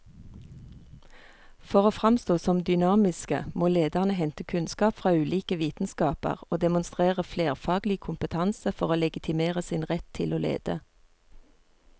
For å framstå som dynamiske må lederne hente kunnskap fra ulike vitenskaper og demonstrere flerfaglig kompetanse for å legitimere sin rett til å lede.